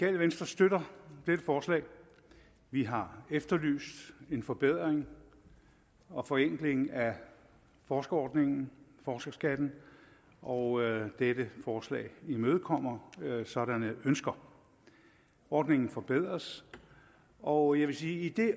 venstre støtter dette forslag vi har efterlyst en forbedring og forenkling af forskerordningen forskerskatten og dette forslag imødekommer sådanne ønsker ordningen forbedres og jeg vil sige at det